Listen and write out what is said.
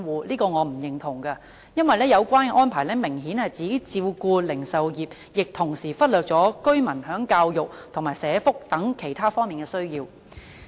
我對此是不認同的，因為有關的安排明顯只照顧零售業，忽略了居民在教育及社福等其他方面的需要。